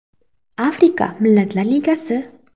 Afrika Millatlar Ligasi.